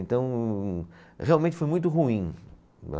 Então, realmente foi muito ruim.